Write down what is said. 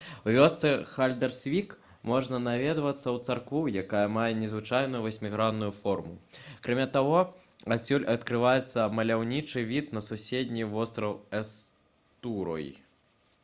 у вёсцы хальдарсвік можна наведацца ў царкву якая мае незвычайную васьмігранную форму акрамя таго адсюль адкрываецца маляўнічы від на суседні востраў эстурой